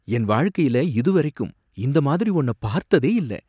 என் வாழ்க்கையில இதுவரைக்கும் இந்த மாதிரி ஒன்ன பார்த்ததே இல்ல